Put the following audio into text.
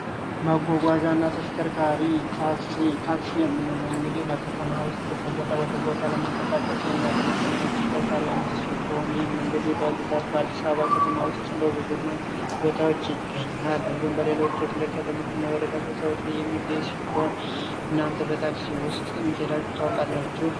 ማጓጓዣና ተሽከርካሪ ታክሲ ታክሲ በከተማ ከቦታ ቦታ ለመንቀሳቀስ የሚያገለግል የተሽከርካሪ አይነት ሲሆን እንግዲህ በብዛት በአዲስ አበባ ከተማ ውስጥ በብዛት ይገኛል እንዲሁም በሌሎች የክልል ከተሞች የሚገኘው ሲሆን እናንተ በታክሲ ሂዳችሁ ታውቃላችሁ?